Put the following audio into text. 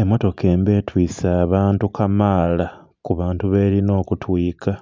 Emmotoka emba etwise abantu kamaala ku bantu belinha okutwika.